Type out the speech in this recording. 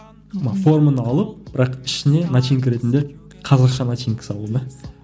форманы алып бірақ ішіне начинка ретінде қазақша начинка салу да